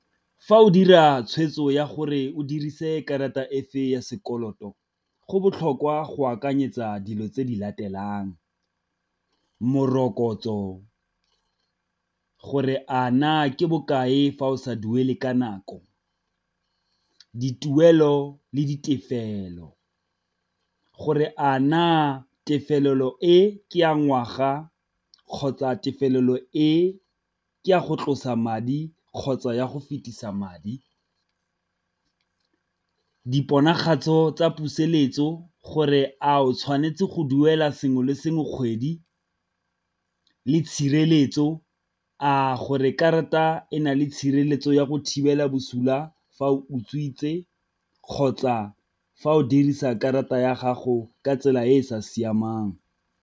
Fa o dira tshwetso ya gore o dirise karata efe ya sekoloto, go botlhokwa go akanyetsa dilo tse di latelang, morokotso gore a na ke bokae fa o sa duele ka nako. Dituelo le ditefelelo, gore a na tefelelo e ke ya ngwaga kgotsa tefelo e ke a go tlosa madi kgotsa ya go fetisa madi, diponagatso tsa puseletso gore a o tshwanetse go duela sengwe le sengwe kgwedi le tshireletso, a gore karata e na le tshireletso ya go thibela bosula fa o utswitse kgotsa fa o dirisa karata ya gago ka tsela e e sa siamang.